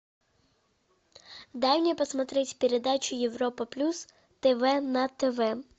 дай мне посмотреть передачу европа плюс тв на тв